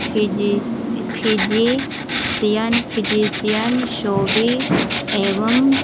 फिजीस physician physician शोभी एवं --